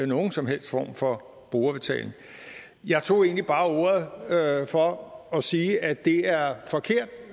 nogen som helst form for brugerbetaling jeg tog egentlig bare ordet for at sige at det er forkert